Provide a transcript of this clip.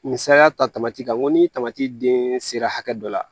Misaliya ta tamati kan ko ni tamati den sera hakɛ dɔ la